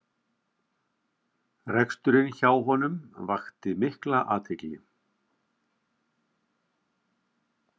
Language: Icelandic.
Reksturinn hjá honum vakti mikla athygli